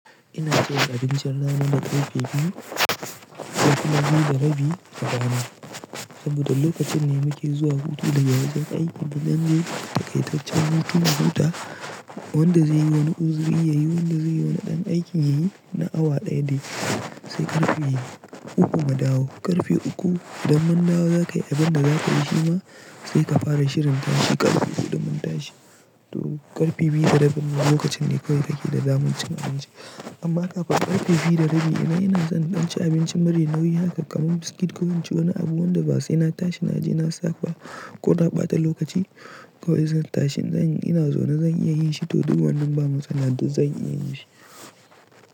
Ina cin abincin rana da ƙarfe biyu, ƙarfe biyu da rabi a rana. Saboda lokacin ne muke zuwa hutu daga wagan aiki da nan dai takaitaccen hutuna. Huta wanda zai yi wani uzuri ya yi, wanda zai yi wani ɗan aiki ya yi na awa ɗaya dai sai karfe uku mu dawo ƙarfe uku. Idan mun dawo za ka yi abin da za ka yi shi ma sai ka fara shirin tashi ƙarfe huɗu mun tashi. To ƙarfe biyu da rabi ne lokacin ne kawai kake da daman cin abinci. Amma kafin ƙarfe biyu da rabi idan in son in ɗan ci abincin mari nauyi haka kamar biskit kawai ci wani abu wanda ba sai na tashi na je na saka ko na ɓata lokaci kawai zan tashi zan ina zauna zan iya yin shi. To duk wannan ba matsala duk zan iya yin shi.